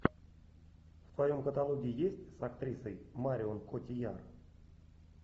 в твоем каталоге есть с актрисой марион котийяр